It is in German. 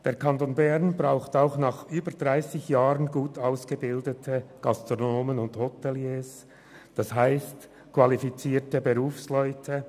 Der Kanton Bern braucht auch nach über 30 Jahren gut ausgebildete Gastronomen und Hoteliers, das heisst, qualifizierte Berufsleute.